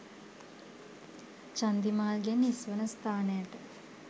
චන්දිමාල් ගෙන් හිස් වන ස්ථානයට